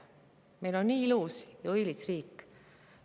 Meil on nii ilus ja õilis riik!